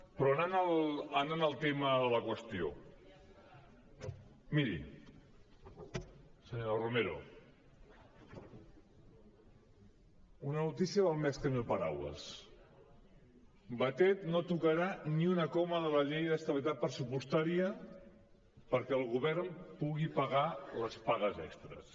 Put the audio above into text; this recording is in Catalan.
però anant al tema de la qüestió miri senyora romero una notícia val més que mil paraules batet no tocarà ni una coma de la llei d’estabilitat pressupostària perquè el govern pugui pagar les pagues extres